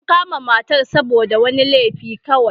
An kama matar ne saboda wani laifi kawai.